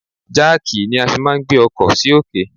Jáàkì ni a fi máà ń gbé ọkọ sì òkè.